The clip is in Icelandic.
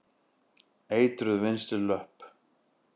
Eitruð vinstri löpp.